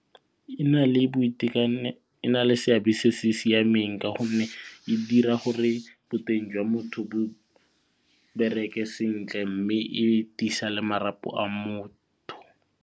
e na le seabe se se siameng ka gonne e dira gore boteng jwa motho bo bereke sentle mme e tiisa le marapo a motho.